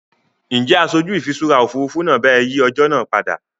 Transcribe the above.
Ǹjẹ́ aṣojú ìfiṣúra Òfurufú náà bá ẹ yìí ọjọ́ náà padà?